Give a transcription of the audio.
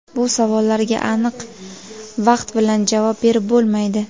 Bu savollarga aniq vaqt bilan javob berib bo‘lmaydi.